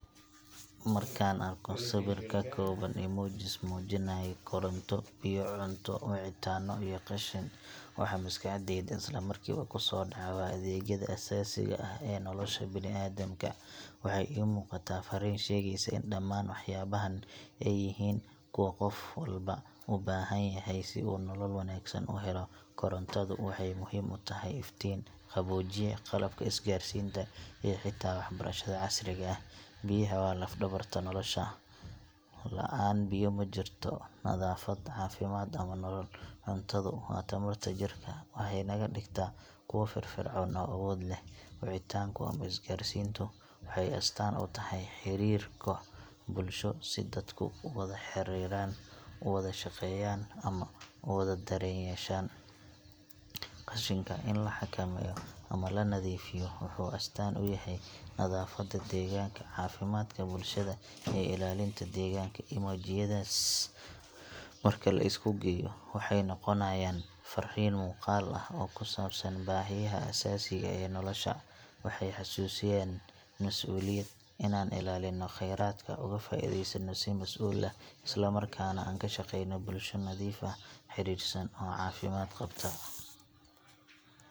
Markaan arko sawir ka kooban emojis muujinaya koronto, biyo, cunto, wicitaano iyo qashin, waxa maskaxdayda isla markiiba ku soo dhaca waa adeegyada aasaasiga ah ee nolosha bini’aadamka. Waxay ii muuqataa farriin sheegaysa in dhammaan waxyaabahan ay yihiin kuwa qof walba u baahan yahay si uu nolol wanaagsan u helo. Korontadu waxay muhiim u tahay iftiin, qaboojiye, qalabka isgaarsiinta iyo xitaa waxbarashada casriga ah. Biyaha waa laf-dhabarta nolosha –la’aan biyo ma jirto nadaafad, caafimaad, ama nolol. Cuntadu waa tamarta jirka; waxay naga dhigtaa kuwo firfircoon oo awood leh. Wicitaanku ama isgaarsiintu waxay astaan u tahay xiriirka bulsho – si dadku u wada xiriiraan, u wada shaqeeyaan, ama u wada dareen yeeshaan. Qashinka, in la xakameeyo ama la nadiifiyo, wuxuu astaan u yahay nadaafadda deegaanka, caafimaadka bulshada, iyo ilaalinta deegaanka. Emojiyadaas marka la isku geeyo, waxay noqonayaan farriin muuqaal ah oo ku saabsan baahiyaha aasaasiga ah ee nolosha. Waxay xasuusinayaan mas’uuliyad: inaan ilaalinno kheyraadka, uga faa’iideysanno si mas’uul ah, isla markaana aan ka shaqeyno bulsho nadiif ah, xiriirsan, oo caafimaad qabta.